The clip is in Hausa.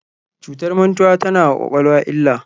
Cutar mantuwa tana wa kwakwalwa illa.